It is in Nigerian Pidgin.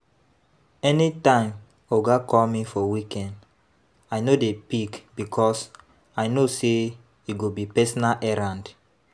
Anytime oga call me for weekend I no dey pick because i know say e go be personal errand